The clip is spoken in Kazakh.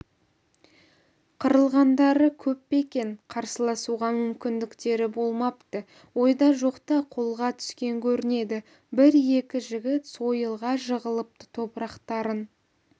қырылғандары көп пе екен қарсыласуға мүмкіндіктері болмапты ойда-жоқта қолға түскен көрінеді бір-екі жігіт сойылға жығылыпты топырақтарың